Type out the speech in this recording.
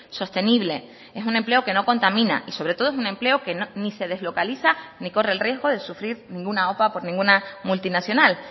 sostenible es un empleo que no contamina y sobre todo es un empleo que ni se deslocaliza ni corre el riesgo de sufrir ninguna opa por ninguna multinacional